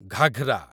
ghagra